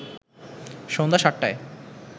সন্ধ্যা ৭টায়